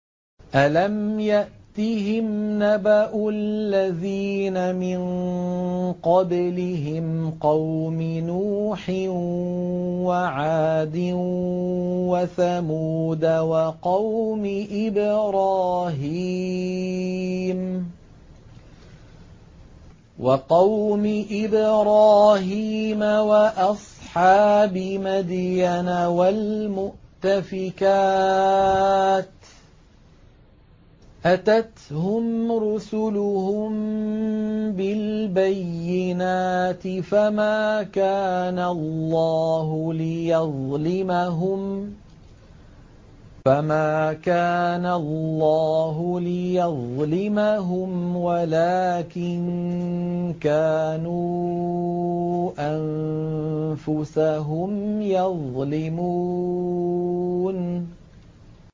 أَلَمْ يَأْتِهِمْ نَبَأُ الَّذِينَ مِن قَبْلِهِمْ قَوْمِ نُوحٍ وَعَادٍ وَثَمُودَ وَقَوْمِ إِبْرَاهِيمَ وَأَصْحَابِ مَدْيَنَ وَالْمُؤْتَفِكَاتِ ۚ أَتَتْهُمْ رُسُلُهُم بِالْبَيِّنَاتِ ۖ فَمَا كَانَ اللَّهُ لِيَظْلِمَهُمْ وَلَٰكِن كَانُوا أَنفُسَهُمْ يَظْلِمُونَ